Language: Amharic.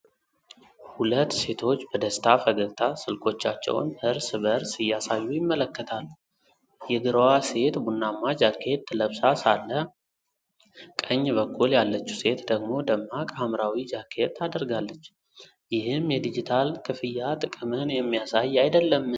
ሁለት ሴቶች በደስታ ፈገግታ ስልኮቻቸውን እርስ በእርስ እያሳዩ ይመለከታሉ። የግራዋ ሴት ቡናማ ጃኬት ለብሳ ሳለ፣ ቀኝ በኩል ያለችው ሴት ደግሞ ደማቅ ሐምራዊ ጃኬት አድርጋለች። ይህም የዲጂታል ክፍያ ጥቅምን የሚያሳይ አይደለም?